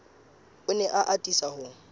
o ne a atisa ho